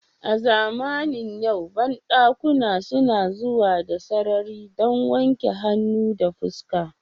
A zamanin yau bandakuna suna zuwa da sarari don wanke hannu da fuska